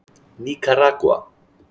Níkaragva